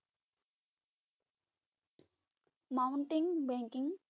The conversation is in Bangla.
Mountain biking